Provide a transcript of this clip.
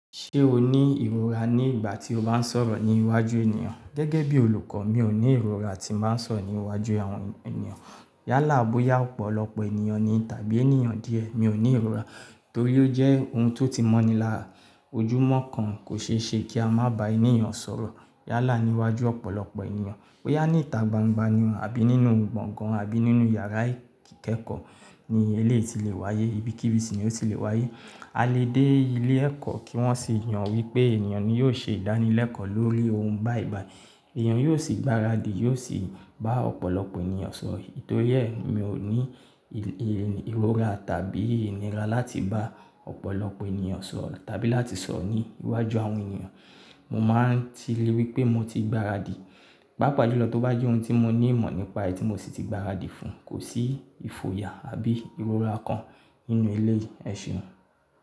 Ṣé o ní ìrora ní ìgbà tí o bá ń sọ̀rọ̀ ní iwájú ènìyàn? Gẹ́gẹ́ bí olùkọ́ mi ò ní ìrora tí n bàá ń s'ọrọ ní iwájú àwọn ènìyàn. Yálà bóyá ọ̀pọ̀lọpọ̀ ènìyàn ni tàbí ènìyàn díẹ̀, mi ò ní ìrora torí ó jẹ́ ohun tó ti mọ́ni la ojúmọ́ kan. Kò ṣeéṣe kí a má bá ènìyàn sọ̀rọ̀. Yálà ní iwájú ọ̀pọ̀lọpọ̀ ènìyàn, bóyá ní ìta gbangba ni o àbí nínú gbọ̀ngán àbí nínú yàrá ìkẹ́kọ̀ọ́ ni eléyìí ti lè wáyé, ibikíbi ni ó ti lè wáyé. A lè dé ilé ẹ̀kọ́ kí wọ́n sì yàn wípé ènìyàn ni yóò ṣe ìdánilẹ́kọ̀ọ́ lórí ohun báyi bàyì, èèyàn yóò sì gbaradì, yóò sì bá ọ̀pọ̀lọpọ̀ ènìyàn sọ̀rọ̀. Nítorí ẹ́ mi ò ní ìrọra tàbí ìnira láti bá ọ̀pọ̀lọpọ̀ ènìyàn sọ̀rọ̀ tàbí láti sọ̀rọ̀ ní iwájú àwọn ènìyàn. Mo máa ń tile wípé mo ti gbaradì, pàápàá jùlọ tó bá jẹ́ ohun tí mo ní ìmọ̀ nípa èyí tí mo sì ti gbaradì fún, kò sí ìfòyà àbí ìrora kan nínú eléyìí, ẹ̀ṣùn.